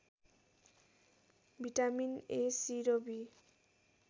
vitamin A C र be